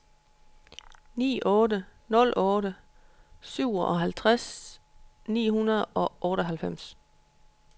ni otte nul otte syvoghalvtreds ni hundrede og otteoghalvfems